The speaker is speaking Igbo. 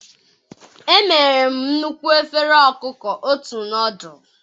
emere m nnukwu efere ọkụkọ ụtọ nọdụlụ.